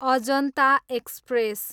Ajanta express